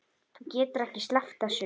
Þú getur ekki sleppt þessu.